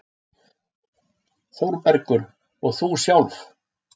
ÞÓRBERGUR: Og þú sjálf?